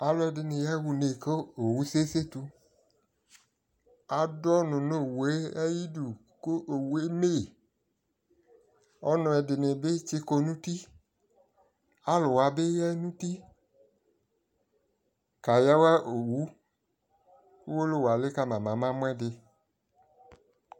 alʋɛdini ya ʋnɛ kʋ ɔwʋ sɛ kɛ sɛtʋ adu alʋnʋɔwʋɛ ayidʋ kʋ ɔwʋɛ ɛmɛi ,ɔlʋɛdini bi tsi kɔnʋ ʋti, alʋ wabi yanʋ ʋti ka yawa ɔwʋ, ɔwɔlɔwʋ ali kama mɛ ama mʋ ɛdi